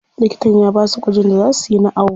Likitan ya basu gwajin da za suyi na awo.